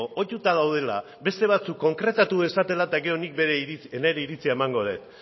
ohituta daudela beste batzuek konkretatu dezatela eta gero nik nire iritzia emango dut